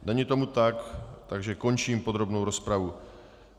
Není tomu tak, takže končím podrobnou rozpravu.